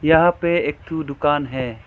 यहां एक ठू दुकान है।